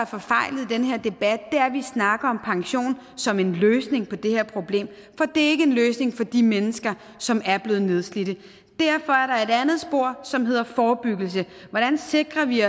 forfejlet i den her debat er at vi snakker om pension som en løsning på det her problem for det er ikke en løsning for de mennesker som er blevet nedslidte derfor er der et andet spor som hedder forebyggelse hvordan sikrer vi